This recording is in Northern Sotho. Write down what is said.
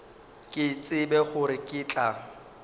ke tsebe gore ke tla